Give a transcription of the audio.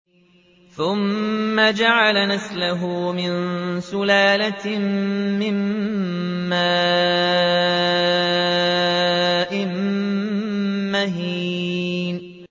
ثُمَّ جَعَلَ نَسْلَهُ مِن سُلَالَةٍ مِّن مَّاءٍ مَّهِينٍ